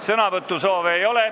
Sõnavõtusoove ei ole.